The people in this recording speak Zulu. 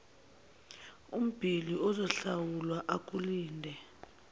ubhili uzohlawula akulinde